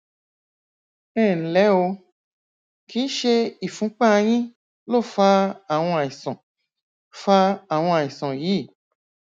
ẹnlẹ o kìí ṣe ìfúnpá yín ló fa àwọn àìsàn fa àwọn àìsàn yìí